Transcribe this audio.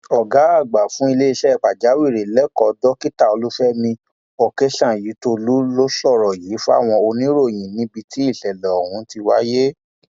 ọgá àgbà fún ìṣẹlẹ pàjáwìrì lẹkọọ dókítà olùfẹmi òkèọsányìntòlú ló sọrọ yìí fáwọn oníròyìn níbi tí ìṣẹlẹ ọhún ti wáyé